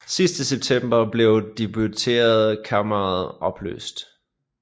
Sidst i september blev Deputeretkammeret opløst